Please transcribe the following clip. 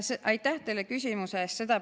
Aitäh teile küsimuse eest!